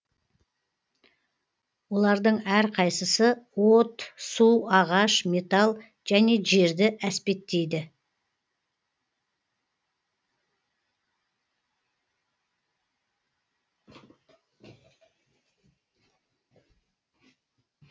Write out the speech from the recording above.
олардың әрқайсысы от су ағаш металл және жерді әспеттейді